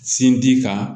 Sin di kan